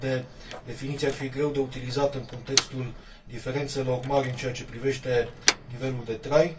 o astfel de definiție ar fi greu de utilizat în contextul diferențelor mari în ceea ce privește nivelul de trai.